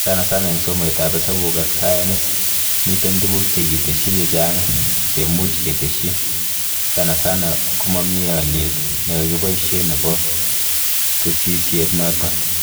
Sanasana eng somoitan hesabuk ak sayanis, miten tuguk chekitesyi chechang chemuch ketesyi, sanasana komamie aliet nekakiboishe nebo tesisyit noto